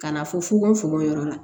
Ka na fɔ fugofugo yɔrɔ la